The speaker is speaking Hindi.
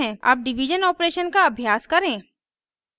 अब डिवीज़न ऑपरेशन का अभ्यास करें